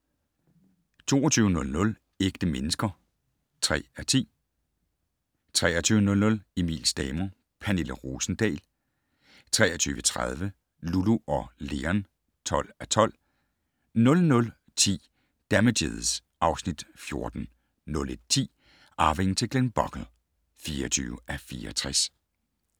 22:00: Ægte mennesker (3:10) 23:00: Emils damer - Pernille Rosendahl 23:30: Lulu og Leon (12:12) 00:10: Damages (Afs. 14) 01:10: Arvingen til Glenbogle (24:64)